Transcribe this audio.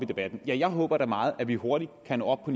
debatten ja jeg håber da meget at vi hurtigt kan nå op på